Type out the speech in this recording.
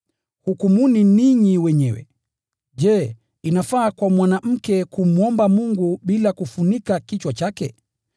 Hukumuni ninyi wenyewe: Je, inafaa kwa mwanamke kumwomba Mungu bila kufunika kichwa chake?